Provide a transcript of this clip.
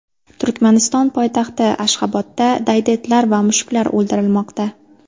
Turkmaniston poytaxti Ashxobodda daydi itlar va mushuklar o‘ldirilmoqda.